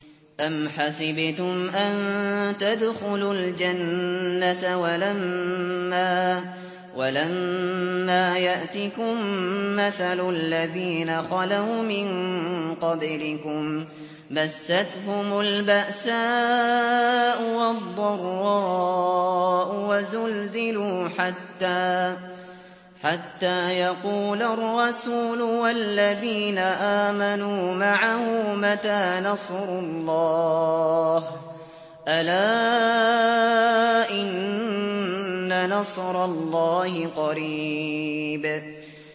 أَمْ حَسِبْتُمْ أَن تَدْخُلُوا الْجَنَّةَ وَلَمَّا يَأْتِكُم مَّثَلُ الَّذِينَ خَلَوْا مِن قَبْلِكُم ۖ مَّسَّتْهُمُ الْبَأْسَاءُ وَالضَّرَّاءُ وَزُلْزِلُوا حَتَّىٰ يَقُولَ الرَّسُولُ وَالَّذِينَ آمَنُوا مَعَهُ مَتَىٰ نَصْرُ اللَّهِ ۗ أَلَا إِنَّ نَصْرَ اللَّهِ قَرِيبٌ